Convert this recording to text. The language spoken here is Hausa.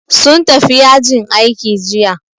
Sun tafi yajin aiki jiya